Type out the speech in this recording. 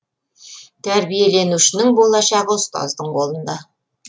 тәрбиеленушінің болашағы ұстаздың қолында